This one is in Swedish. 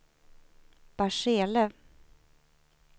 Barsele